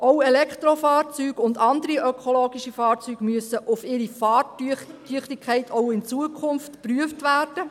Auch Elektrofahrzeuge und andere ökologische Fahrzeuge müssen auch in Zukunft auf ihre Fahrtüchtigkeit geprüft werden.